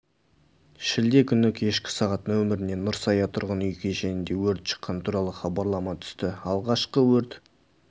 шілде күні кешкі сағат нөміріне нұрсая тұрғын үй кешенінде өрт шыққаны туралы хабарлама түсті алғашқы өрт